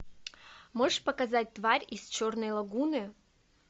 можешь показать тварь из черной лагуны